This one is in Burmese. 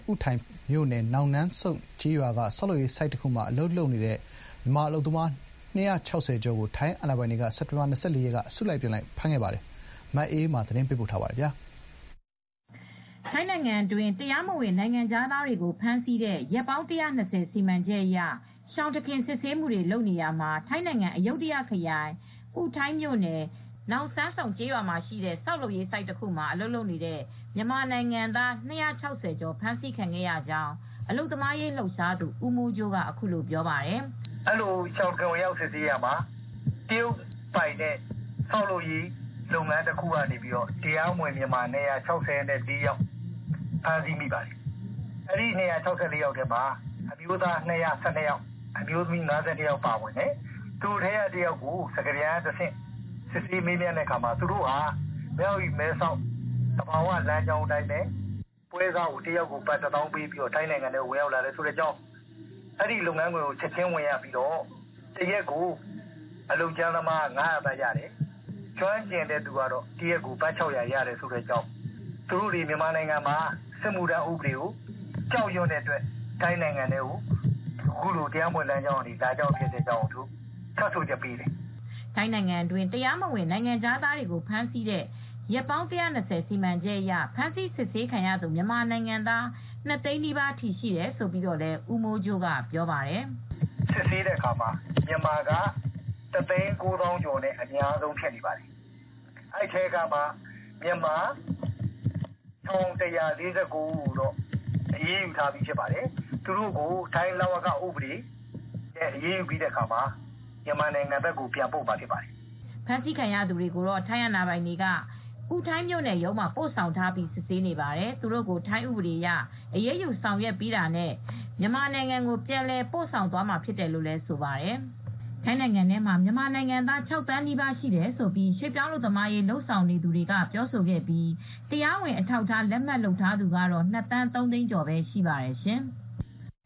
ဥထိုင်မြို့နယ်၊ နောင်နမ်းစုန့်ကျေးရွာက ဆောက်လုပ်ရေးဆိုဒ်တခုမှာ အလုပ်လုပ်နေကြတဲ့မြန်မာအလုပ်သမား ၂၆၀ ကျော်ကို ထိုင်းအာဏာပိုင်တွေက မနေ့ကပဲ အစုလိုက်အပြုံလိုက်ဖမ်းဆီးခဲ့ပါတယ်။ ဒီသတင်းကို ဗွီအိုအေသတင်းထောက် မအေးအေးမာကသတင်းပေးပို့ထားပါတယ်။ ထိုင်းနိုင်ငံအတွင်း တရားမဝင် ဝင်ရောက်နေထိုင်နေကြတဲ့ နိုင်ငံခြားသားတွေကိုဖမ်းဆီးတဲ့ ရက်ပေါင်း ၁၂၀ စီမံချက်အရ ရှောင်တခင် စစ်ဆေးနေတာမှာ ထိုင်းနိုင်ငံ၊ အယုဒ္ဓခရိုင်၊ ဥထိုင်မြို့နယ်၊ နောင်နမ်းစုန့်ကျေးရွာရှိ ဆောက်လုပ်ရေးဆိုဒ်ထဲကနေ မြန်မာနိုင်ငံသား အလုပ်သမား ၂၆၀ ကျော် ဖမ်းဆီးခံခဲ့ရကြောင်း အလုပ်သမားရေးလှုပ်ရှားသူ ဦးမိုးကြိုးကအခုလိုပြောပါတယ်။ “အဲဒီလိုရှောင်တခင်ဝင်ရောက်စစ်ဆေးရာမှာ တရုတ်ပိုင်တဲ့ ဆောက်လုပ်ရေးလုပ်ငန်းတခုကနေ တရားမဝင်မြန်မာ၂၆၄ ယောက် ဖမ်းမိပါတယ်။ အဲဒီမှာအမျိုးသားက ၂၁၂ ယောက်၊ အမျိုးသမီးက ၅၂ ယောက်ပါဝင်တယ်။ သူတို့ကိုစစ်ဆေးတဲ့အခါမှာ သူတို့ဟာမြ၀တီ မဲဆောက်တောလမ်းကနေ လာကြကြောင်း၊ ပွဲစားကို ဘတ် ၂ သောင်းပေးပြီး ထိုင်းကိုဝင်လာခဲ့တယ်လို့ ဆိုပါတယ်။ အဲဒီလုပ်ငန်းခွင်ကို ချက်ချင်းဝင်ပြီး အလုပ်ကြမ်းသမားက တနေ့ ဘတ် ၅၀၀ ရပြီးကျွမ်းကျင်သူက တနေ့ကို ဘတ် ၆၀၀ ထိရတယ်လို့ ပြောပါတယ်။ သူတို့တွေဟာမြန်မာနိုင်ငံမှာ စစ်မှုထမ်းဥပဒေကိုကြောက်ရွံ့တဲ့အတွက် ထိုင်းနိုင်ငံထဲကို တရားမဝင်လမ်းကြောင်းကနေ လာတယ်လို့ ထွက်ဆိုချက်ပေးပါတယ်။” ထိုင်းနိုင်ငံအတွင်းမှာ အထောက်အထားမဲ့နေထိုင်နေကြတဲ့ နိုင်ငံခြားသားတွေကို ဖမ်းဆီးတဲ့ ရက်ပေါင်း ၁၂၀ စီမံချက်အရ ဖမ်းဆီးစစ်ဆေးခံရသူ မြန်မာနိုင်ငံသား ၂ သိန်းနီးပါးထိရှိတယ်လို့လည်း ဦးမိုးကြိုးကအခုလိုပြောပါတယ်။ “စစ်ဆေးတဲ့အခါမှာ မြန်မာက တသိန်းကိုးသောင်းကျော်နဲ့ အများဆုံးဖြစ်နေတယ်။ အဲဒီထဲက မြန်မာ ၁,၂၄၉ ဦးကိုတော့ အရေးယူမှာဖြစ်ပြီး နေရပ်ကိုပြန်ပို့မှာဖြစ်ပါတယ်။” ဖမ်းဆီးခံရသူတွေကိုတော့ ထိုင်းအာဏာပိုင်တွေက ဥထိုင်မြို့နယ်ရုံးမှာပို့ဆောင်ထားပြီး စစ်ဆေးနေပါတယ်။ သူတို့ကို ထိုင်းဥပဒေအရ အရေးယူဆောင်ရွက်ပြီးတာနဲ့ မြန်မာနိုင်ငံကို ပြန်လည်ပို့ဆောင်သွားမှာဖြစ်တယ်လို့လည်းဆိုပါတယ်။ ထိုင်းနိုင်ငံထဲမှာ မြန်မာနိုင်ငံသား ၆ သန်းနီးပါးရှိတယ်လို့ ရွှေ့ပြောင်းအလုပ်သမားအရေး လုပ်ဆောင်နေသူတွေကပြောဆိုခဲ့ပြီး တရားဝင်အထောက်အထားလက်မှတ်လုပ်ထားသူကတော့ ၂ သန်း ၃ သိန်းကျော်ပဲရှိပါတယ်ရှင်။